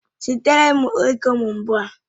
Zitere m ego m ugbu a!